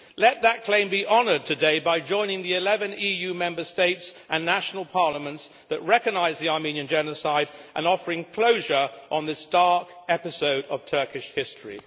Let that claim be honoured today by joining the 11 EU Member States and national parliaments that recognise the Armenian genocide and offering closure on this dark episode of Turkish history.